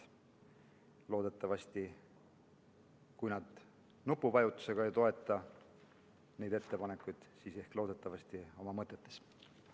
Loodetavasti, kui nad ka nupuvajutusega ei toeta neid ettepanekuid, siis ehk oma mõtetes.